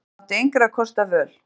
En hann átti engra kosta völ.